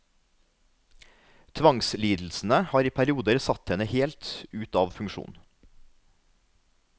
Tvangslidelsene har i perioder satt henne helt ut av funksjon.